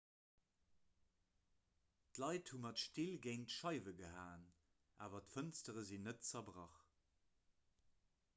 d'leit hu mat still géint d'scheiwe gehaen awer d'fënstere sinn net zerbrach